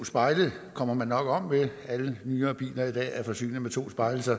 spejle kommer man nok om ved da alle nyere biler i dag er forsynet med to spejle så